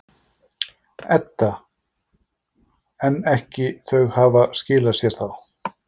Edda: En ekki, þau hafa ekki skilað sér þá?